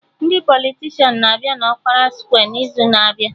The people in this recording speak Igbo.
Ndị politishan na-abịa na ọkpara skwe n'izu na-abịa